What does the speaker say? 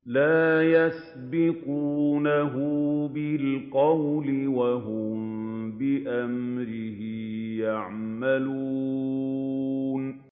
لَا يَسْبِقُونَهُ بِالْقَوْلِ وَهُم بِأَمْرِهِ يَعْمَلُونَ